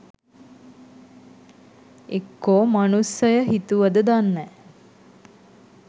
එක්කො මනුස්සය හිතුවද දන්නෑ